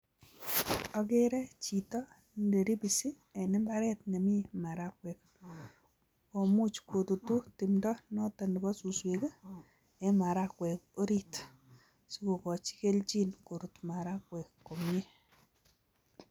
Akere chito neribisi en imbaret nemi marakwek, komuch kotutu timdo noto nebo suswek ii eng marakwek orit si kokochi kelchin korut marakwek komie.